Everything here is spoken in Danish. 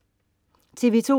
TV2: